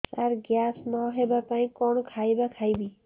ସାର gas ନ ହେବା ପାଇଁ କଣ ଖାଇବା ଖାଇବି